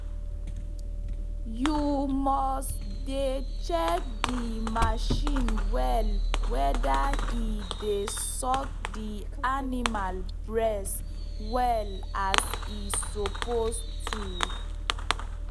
u mus dey check d marchin well weda e dey suck d animal bress well as e suppose to